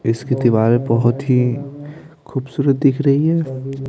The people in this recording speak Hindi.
इसकी दीवार बहुत ही खूबसूरत दिख रही है।